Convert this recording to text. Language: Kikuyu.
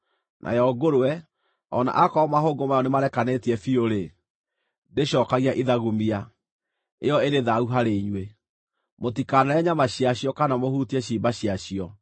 Nayo ngũrwe, o na akorwo mahũngũ mayo nĩmarekanĩtie biũ-rĩ, ndĩcookagia ithagumia; ĩyo ĩrĩ thaahu harĩ inyuĩ. Mũtikanarĩe nyama ciacio kana mũhutie ciimba ciacio.